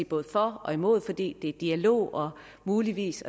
både for og imod for det er dialog og muligvis